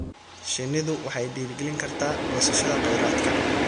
Shinnidu waxay dhiirigelin kartaa goosashada kheyraadka.